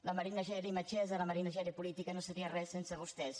la marina geli metgessa la marina geli política no seria res sense vostès